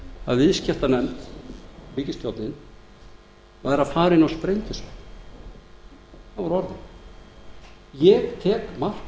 að viðskiptanefnd ríkisstjórnin væri að fara inn á sprengjusvæði það voru